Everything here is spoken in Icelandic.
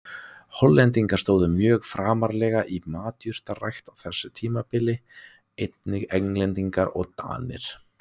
Hollendingar stóðu mjög framarlega í matjurtarækt á þessu tímabili, einnig Englendingar og Danir.